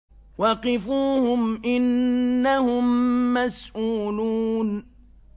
وَقِفُوهُمْ ۖ إِنَّهُم مَّسْئُولُونَ